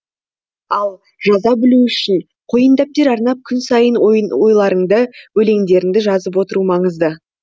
ал жаза білуі үшін қойындәптер арнап күн сайын ойларыңды өлеңдеріңді жазып отыру маңызды